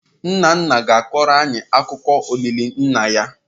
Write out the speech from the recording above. Nna nna ga-akọrọ anyị akụkọ olili nna ya.